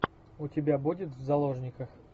у тебя будет в заложниках